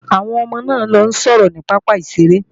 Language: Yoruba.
Àwọn ọmọ náà ń lọ sọ̀rọ̀ ní pápá ìṣeré